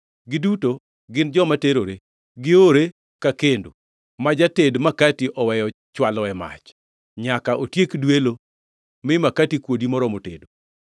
Giduto gin joma terore, giore ka kendo, ma jated makati oweyo chwaloe mach nyaka otiek dwelo mi makati kuodi moromo tedo.